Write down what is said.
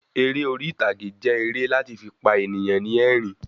Eré orítagé jẹ èrè lati fi pa eniyan ni ẹ̀rín